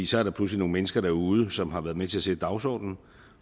så er der pludselig nogle mennesker derude som har været med til at sætte dagsordenen